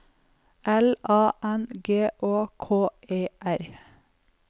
L A N G Å K E R